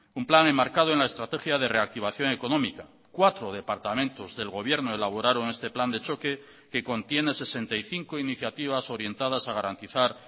un plan enmarcado en la estrategia de reactivación económica cuatro departamentos del gobierno elaboraron este plan de choque que contiene sesenta y cinco iniciativas orientadas a garantizar